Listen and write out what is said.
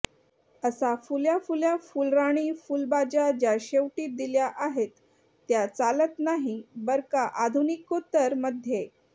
अस फुल्या फुल्या फुलराणी फुलबाज्या ज्या शेवटी दिल्या आहेत त्या चालत नाही बर्का आधुनिकोत्तर मध्ये